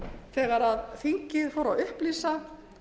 þegar þingið fór að upplýsa